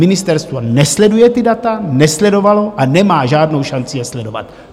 Ministerstvo nesleduje ta data, nesledovalo a nemá žádnou šanci je sledovat.